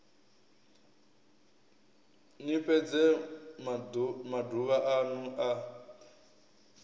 ni fhedze maduvha anu a